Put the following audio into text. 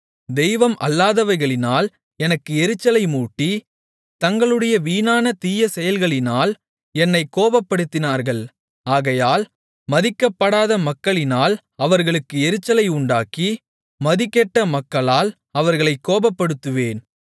தெய்வம் அல்லாதவைகளினால் எனக்கு எரிச்சலை மூட்டி தங்களுடைய வீணான தீயசெயல்களினால் என்னைக் கோபப்படுத்தினார்கள் ஆகையால் மதிக்கப்படாத மக்களினால் அவர்களுக்கு எரிச்சலை உண்டாக்கி மதிகெட்ட மக்களால் அவர்களைப் கோபப்படுத்துவேன்